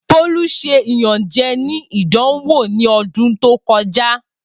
Bolu ṣe iyanjẹ ni idanwo ni ọdun to kọja.